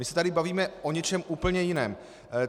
My se tady bavíme o něčem úplně jiném.